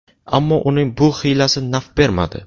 Ammo uning bu hiylasi naf bermadi.